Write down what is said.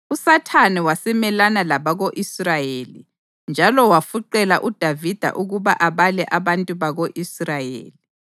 USathane wasemelana labako-Israyeli njalo wafuqela uDavida ukuba abale abantu bako-Israyeli.